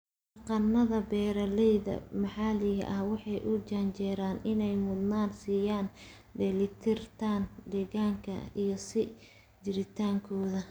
Dhaqannada beeralayda maxalliga ahi waxay u janjeeraan inay mudnaan siiyaan dheelitirnaanta deegaanka iyo sii jiritaankeeda.